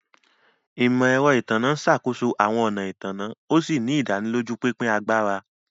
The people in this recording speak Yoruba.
Imọ-ẹrọ Itanna n ṣakoso awọn ọna ìtanná, òsì ni ìdánilójú pínpín àgbàrá